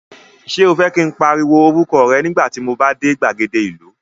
Ṣé o fẹ́ kí n pariwo orúkọ rẹ nígbà tí mo bá dé gbàgede ìlú?